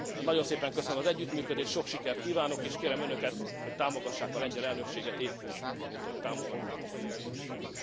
Nagyon szépen köszönöm az együttműködést, sok sikert kívánok, és kérem önöket, hogy támogassák a lengyel elnökséget éppúgy, mint ahogy támogatták a magyar elnökséget.